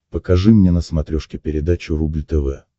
покажи мне на смотрешке передачу рубль тв